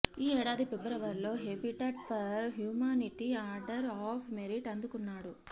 ఈ ఏడాది ఫిబ్రవరిలో Habitat for Humanity Order of Merit అందుకున్నాడు